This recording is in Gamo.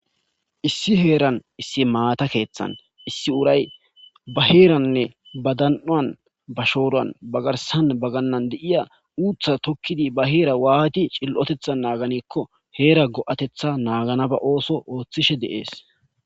issi heeran issi maata keeththan issi uray ba heeranne ba dan7uan ba shooruwan bagarsan bagannan deiya uutha tokkidi ba heera waati cil7otetha naaganikko heera go7atetha naaganaba ooso ooththishe deees